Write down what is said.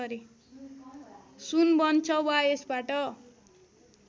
सुन बन्छ वा यसबाट